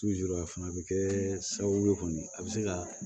fana bɛ kɛ sababu ye kɔni a bɛ se ka